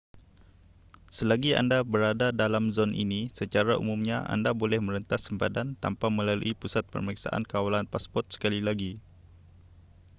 selagi anda berada dalam zon ini secara umumnya anda boleh merentas sempadan tanpa melalui pusat pemeriksaan kawalan pasport sekali lagi